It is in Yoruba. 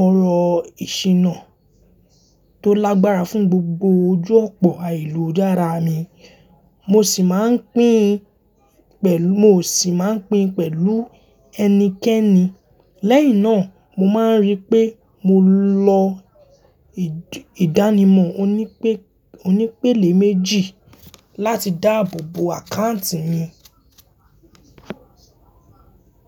ọ̀rọ̀ ìṣíná tó lágbára fún gbogbo ojú ọ̀pọ̀ àìlò de ara mi. Mo sì ma ń pín pẹ̀lú, mo sì ma ń pín pẹ̀lú ẹnikẹ́ni. Lẹ́yìn náà mo máa ń ríi pé mo lọ ìdánimọ̀ oní pè, oní pèlè méjì láti dáàbò bo àkáǹtì mi.